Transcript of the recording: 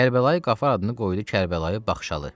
Kərbəlayı Qafar adını qoydu Kərbəlayı Baxşalı.